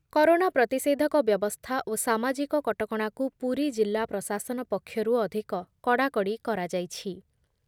Corona ପ୍ରତିଷେଧକ ବ୍ୟବସ୍ଥା ଓ ସାମାଜିକ କଟକଣାକୁ ପୁରୀଜିଲ୍ଲା ପ୍ରଶାସନ ପକ୍ଷରୁ ଅଧିକ କଡ଼ାକଡ଼ି କରାଯାଇଛି ।